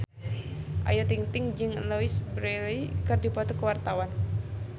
Ayu Ting-ting jeung Louise Brealey keur dipoto ku wartawan